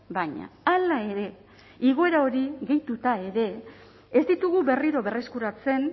baina hala ere igoera hori gehituta ere ez ditugu berriro berreskuratzen